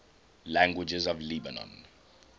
languages of lebanon